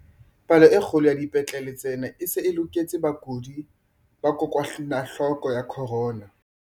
Palo e kgolo ya dipetlele tsena e se e loketse bakudi ba kokwanahloko ya corona.